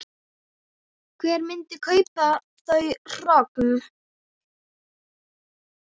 Hver myndi kaupa þau hrogn?